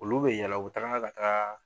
Olu bɛ yɛlɛ k'u ka taa.